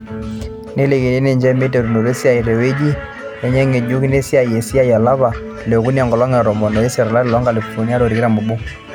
Nelikini ninche meiteruto esiai teweji enye ngejuk naasia esiai olapa leokuni enkolong e tomon o isiet, olari loonkalifuni are o tikitam oobo.